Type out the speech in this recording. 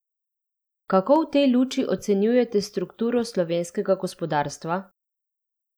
Kako v tej luči ocenjujete strukturo slovenskega gospodarstva?